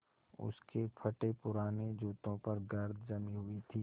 उसके फटेपुराने जूतों पर गर्द जमी हुई थी